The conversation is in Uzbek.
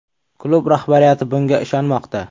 Klub rahbariyati bunga ishonmoqda.